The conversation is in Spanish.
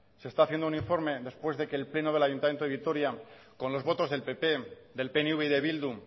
se está haciendo un informe después de que el pleno del ayuntamiento de vitoria con los votos del pp del pnv y de bildu